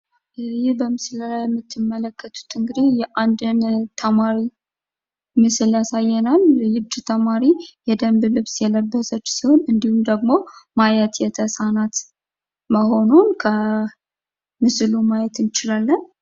ይህ በምስሉ ላይ የምትመለከቱት እንግዲህ የአንድን ተማሪ ምስል ያሳየናል። ይች ተማሪ የደንብ ልብስ የለበሰች ሲሆን እንዲሁም ደግሞ ማየት የተሳናት መሆኑን ከምስሉ ማየት እንችላለን።